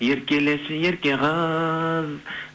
еркелеші ерке қыз